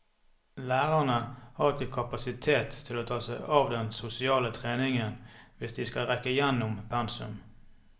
Lærerne har ikke kapasitet til å ta seg av den sosiale treningen hvis de skal rekke gjennom pensum.